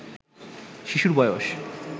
শিশুর বয়স